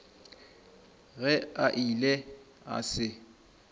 ge a ile a se